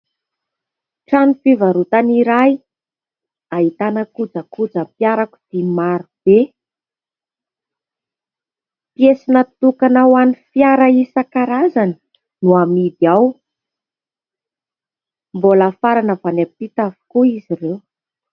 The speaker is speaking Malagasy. Trano fivarotana iray ahitana kojakoja mpiarakodia maro be. Piesy natokana ho an'ny fiara isan-karazany no amidy ao ; mbola afarana avy any ampita avokoa izy ireo.